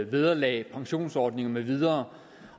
vederlag pensionsordninger med videre